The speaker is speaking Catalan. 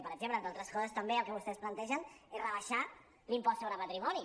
per exemple entre altres coses també el que vostès plantegen és rebaixar l’impost sobre patrimoni